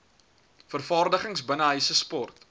vergaderings binnenshuise sport